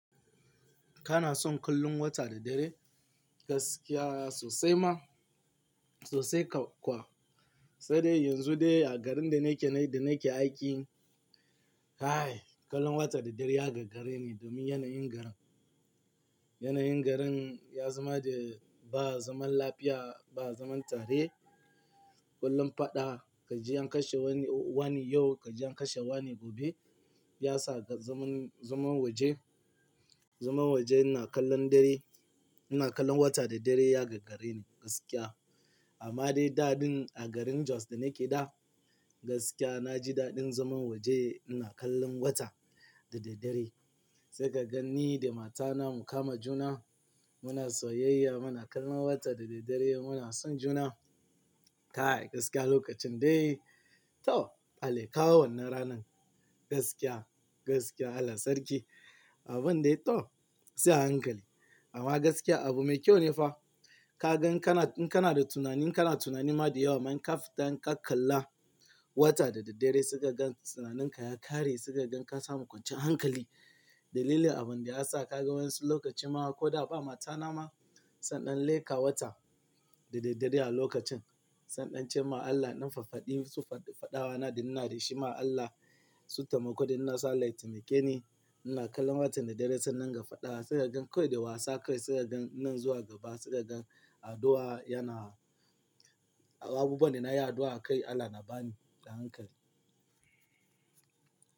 Kana son kallon wata da dare? Gaskiya sosai ma, sosai kau kuwa. Sadai yanzu dai a garin da nake, da nake aiki, kai! Kallon wata da dare ya gagare ni domin yanayin garin. Yanayin garin ya zama da ba zaman lafiya, ba zaman tare. Kullun faɗa, ka ji an kashe wani, wane yau, ka ji an kashe wane gobe. Ya sa zaman, zaman waje, zaman waje ina kallon dai, ina kallon wata da dare ya gagare ni gaskiya. Amma dai daɗin a garin Jos da nake da gaskiya na ji daɗin zaman waje ina kallon wata da daddare. Sai ka gan ni da matana mu kama juna, muna soyayya, muna kallon wata da daddare muna son juna. Kai! Gaskiya lokacin dai to Allah ya kawo wannan ranan. Gaskiya, gaskiya Allah sarki. Abun dai to sai a hankali. Amma gaskiya abu mai kyau ne fa. Ka gan kana, in kana da tunani kana tunani ma da yawa ma in kafita in ka kalla wata da daddare sai ka gan tunaninka ya ƙare, sai ka gan ka samu kwanciyan hankali. Dalilin abun da ya sa ka ga wa'insu lokaci ma ko da ba mata na ma, sai iɗan leka watan da daddare a lokacin. Sai iɗan ce ma Allah, in ɗan faffaɗi su faɗi, faɗawa na da ina da shi ma Allah su taimako da innan satellite nake ni. Ina kallon wata da dare sai in dinga faɗa sai ka gan kawai da wasa kawai sai ka gan nan zuwa gaba sai ka gan addu'a yana abubuwan da nayi addu'a akai Allah na ba ni a hankali.